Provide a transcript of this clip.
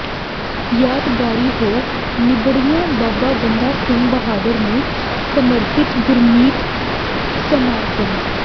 ਯਾਦਗਾਰੀ ਹੋ ਨਿੱਬੜਿਆ ਬਾਬਾ ਬੰਦਾ ਸਿੰਘ ਬਹਾਦਰ ਨੂੰ ਸਮਰਪਿਤ ਗੁਰਮਤਿ ਸਮਾਗਮ